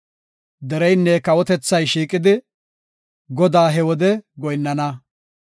Dereynne kawotethay shiiqidi, Godaas he wode goyinnana.